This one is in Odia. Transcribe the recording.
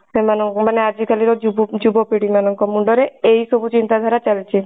ସେମାନଙ୍କ ମାନେ ଆଜି କାଲି ଯୁବ ଯୁବପିଢୀ ମାନଙ୍କ ମୁଣ୍ଡ ରେ ଏଇ ସବୁ ଚିନ୍ତା ଧାରା ଚାଲିଛି।